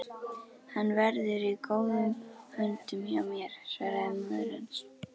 Hann verður í góðum höndum hjá mér svaraði móðir hans.